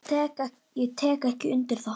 Ég tek ekki undir það.